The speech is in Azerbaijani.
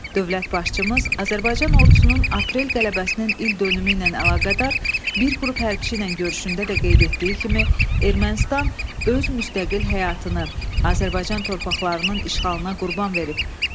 Dövlət başçımız Azərbaycan Ordusunun aprel qələbəsinin ildönümü ilə əlaqədar bir qrup hərbçi ilə görüşündə də qeyd etdiyi kimi, Ermənistan öz müstəqil həyatını Azərbaycan torpaqlarının işğalına qurban verib.